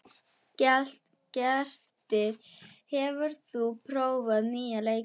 Grettir, hefur þú prófað nýja leikinn?